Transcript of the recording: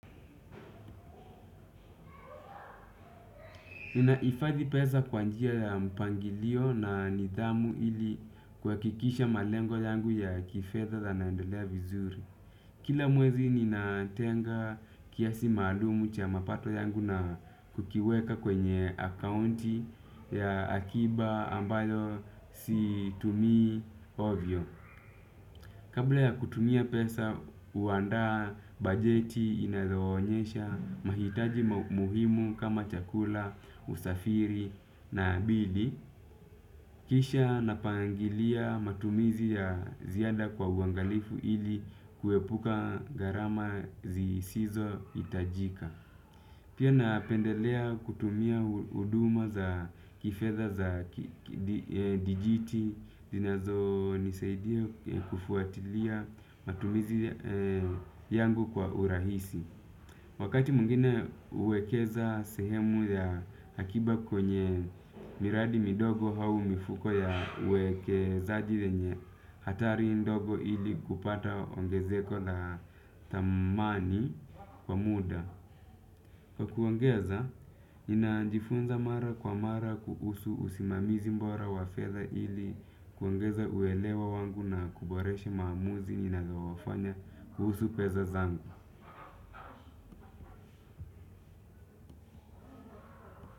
Nina hifadhi pesa kwa njia ya mpangilio na nidhamu ili kuhakikisha malengo yangu ya kifedha naendelea vizuri. Kila mwezi ninatenga kiasi maalumu cha mapato yangu na kukiweka kwenye akaunti ya akiba ambayo situmii hovyo. Kabla ya kutumia pesa, huandaa bajeti inayo onyesha mahitaji muhimu kama chakula, usafiri na bili. Kisha napangilia matumizi ya ziada kwa uangalifu ili kuepuka gharama zisizo hitajika. Pia napendelea kutumia huduma za kifedha za dijiti zinazo nisaidia kufuatilia matumizi yangu kwa urahisi. Wakati mwingine uwekeza sehemu ya akiba kwenye miradi midogo au mifuko ya uwekezaji yenye hatari ndogo ili kupata ongezeko la thamani kwa muda. Kwa kuongeza, ninajifunza mara kwa mara kuhusu usimamizi bora wafedha ili kuongeza uelewa wangu na kuboresha maamuzi ninayo yafanya kuhusu pesa zangu.